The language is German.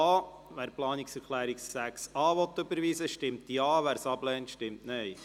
Wer die Planungserklärung 6a annehmen will, stimmt Ja, wer dies ablehnt, stimmt Nein.